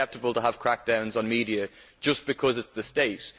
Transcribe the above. Is it acceptable to have crackdowns on media just because it is the state?